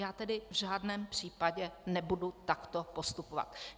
Já tedy v žádném případě nebudu takto postupovat.